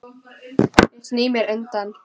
Ég sný mér undan.